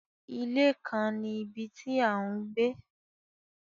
Ile kan ni ibi ti a n gbe